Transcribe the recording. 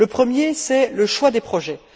Le premier, c'est le choix des projets.